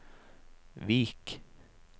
Vik